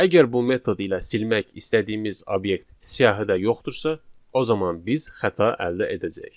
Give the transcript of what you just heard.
Əgər bu metod ilə silmək istədiyimiz obyekt siyahıda yoxdursa, o zaman biz xəta əldə edəcəyik.